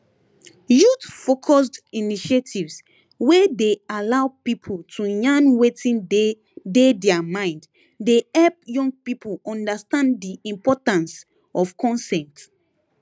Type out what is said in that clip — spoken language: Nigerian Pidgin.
youthfocused initiatives wey dey allow people to yarn wetin dey dey their mind dey help young people understand di importance of consent